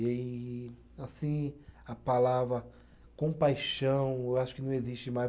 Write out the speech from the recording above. E aí, assim, a palavra compaixão, eu acho que não existe mais.